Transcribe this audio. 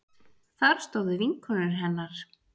Þar stóðu vinkonur hennar